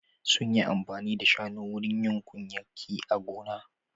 Sun yi amfani da shanu wurin yin kunyaki a gona.